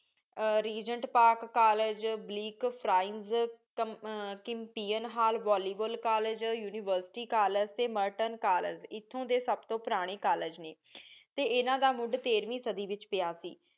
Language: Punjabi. ਰੇਗੇੰਟ ਪਾਕ ਕੋਲ੍ਲੇਗੇ ਬਲਿਕ ਫੋਰੇੰਸਿਕ ਕਿਮਟੀਅਨ ਬੋਲ੍ਯ੍ਵੋਲ ਕੋਲ੍ਲੇਗੇ university ਕੋਲ੍ਲੇਗੇ ਟੀ ਮੋਰਟੋਨ ਕਾਲੇਗੇ ਏਥੋਂ ਡੀ ਸਬ ਤੋ ਪੁਰਾਨੀ ਕੋਲ੍ਲੇਗੇ ਨੀ ਟੀ ਇੰਨਾ ਦਾ ਮੁੜ੍ਹ ਤੇਰ੍ਹਵੀਂ ਸਾਡੀ ਵਿਚ ਪ੍ਯ ਸੀ